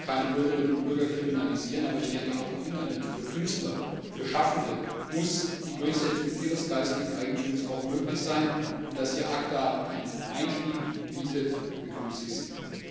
Ich möchte hier keine Bürgerinnen und Bürger kriminalisieren, aber ich denke, für Künstler, für Schaffende muss die Durchsetzung ihrer geistigen Eigentumsrechte auch im Internet möglich sein, und dass ACTA hier einen Einstieg bietet, begrüße ich sehr.